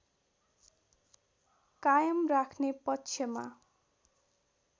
कायम राख्ने पक्षमा